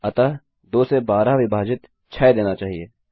अतः 2 से 12 विभाजित 6 देना चाहिए